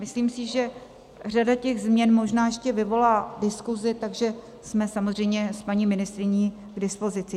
Myslím si, že řada těch změn možná ještě vyvolá diskusi, takže jsme samozřejmě s paní ministryní k dispozici.